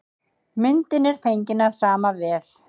Myndin er fengin af sama vef.